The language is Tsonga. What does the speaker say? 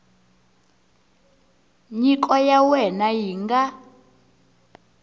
nyiko ya wena yi nga